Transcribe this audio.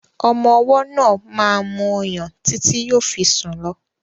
Ọmọ ọwọ́ náà máa mu ọyàn títí yóò fi sùn lọ.